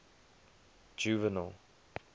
juvenal